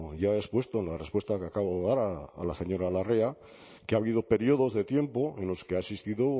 ya he expuesto en la respuesta que acabo de dar a la señora larrea que ha habido periodos de tiempo en los que ha existido